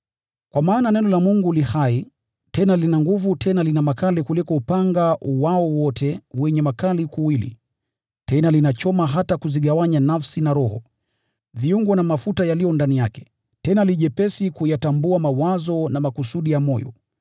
Kwa maana Neno la Mungu li hai tena lina nguvu. Lina makali kuliko upanga wowote wenye makali kuwili, hivyo linachoma hata kuzigawanya nafsi na roho, viungo na mafuta yaliyo ndani yake; tena li jepesi kuyatambua mawazo na makusudi ya moyo.